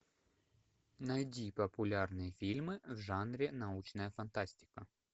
найди популярные фильмы в жанре научная фантастика